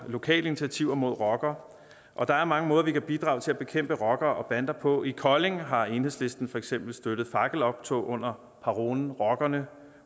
lokale initiativer mod rockere og der er mange måder man kan bidrage til at bekæmpe rockere og bander på i kolding har enhedslisten for eksempel støttet fakkeloptog under parolen rockerne